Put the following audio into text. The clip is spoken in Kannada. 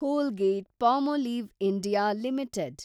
ಕೋಲ್ಗೇಟ್ಪಾ ಆಂಡ್ ಪಾಲ್ಮೊಲಿವ್ ಇಂಡಿಯಾ ಲಿಮಿಟೆಡ್